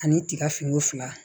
Ani tigafiniko fila